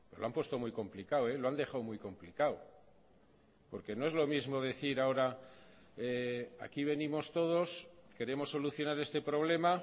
lo han puesto muy complicado lo han dejado muy complicado porque no es lo mismo decir ahora aquí venimos todos queremos solucionar este problema